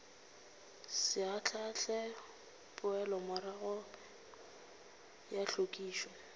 se ahlaahle poelomorago ya hlwekišo